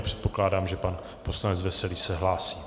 A předpokládám, že pan poslanec Veselý se hlásí.